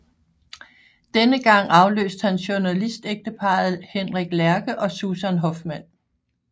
Denne gang afløst han journalistægteparret Henrik Lerche og Susan Hoffmann